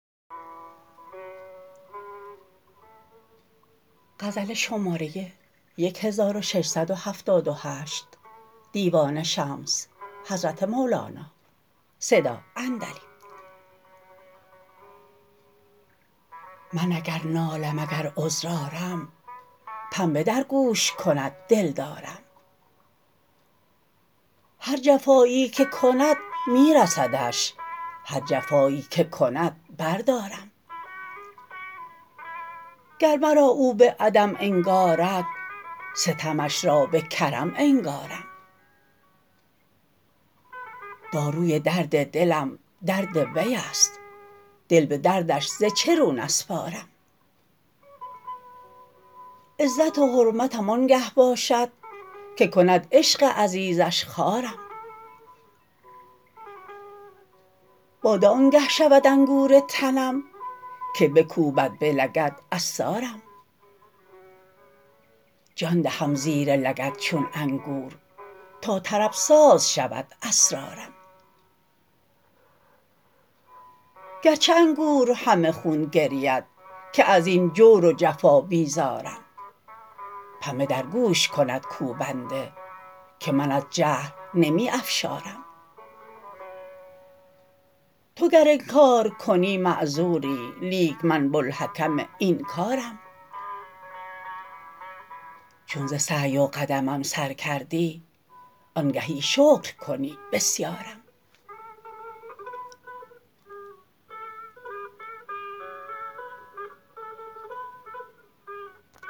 من اگر نالم اگر عذر آرم پنبه در گوش کند دلدارم هر جفایی که کند می رسدش هر جفایی که کند بردارم گر مرا او به عدم انگارد ستمش را به کرم انگارم داروی درد دلم درد وی است دل به دردش ز چه رو نسپارم عزت و حرمتم آنگه باشد که کند عشق عزیزش خوارم باده آنگه شود انگور تنم که بکوبد به لگد عصارم جان دهم زیر لگد چون انگور تا طرب ساز شود اسرارم گرچه انگور همه خون گرید که از این جور و جفا بیزارم پنبه در گوش کند کوبنده که من از جهل نمی افشارم تو گر انکار کنی معذوری لیک من بوالحکم این کارم چون ز سعی و قدمم سر کردی آنگهی شکر کنی بسیارم